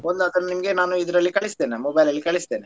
ಒಂದು ಅದನ್ನು ನಿಮಗೆ ಇದ್ರಲ್ಲಿ ಕಳಿಸ್ತೇನೆ mobile ಕಳಿಸ್ತೇನೆ.